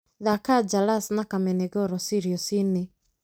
thaaka jalas na kamene goro sirius-inĩ